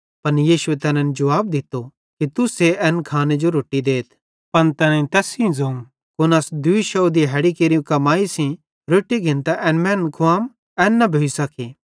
पन यीशुए तैनन् जुवाब दित्तो कि तुस्से एन खाने जो रोट्टी देथ पन तैनेईं तैस सेइं ज़ोवं कुन अस दूई शौव दिहाड़ी केरि कमाई सेइं रोट्टी घिन्तां एन मैनन् खुवाम एन न भोइ सके